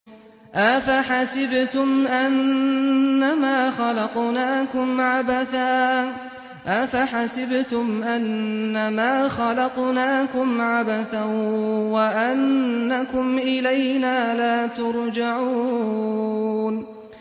أَفَحَسِبْتُمْ أَنَّمَا خَلَقْنَاكُمْ عَبَثًا وَأَنَّكُمْ إِلَيْنَا لَا تُرْجَعُونَ